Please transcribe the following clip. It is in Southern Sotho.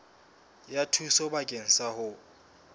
ya thuso bakeng sa ho